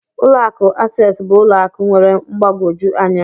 Ụlọ akụ Access bụ ụlọ akụ nwere mgbagwoju anya